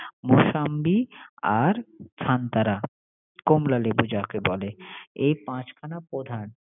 ওসামবি আর ফানতারা কমলা লেবু যাকে বলে এই পাচখানা প্রধান